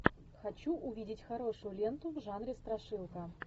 хочу увидеть хорошую ленту в жанре страшилка